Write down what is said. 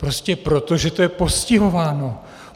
Prostě proto, že to je postihováno.